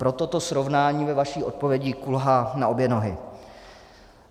Proto to srovnání ve vaší odpovědi kulhá na obě nohy.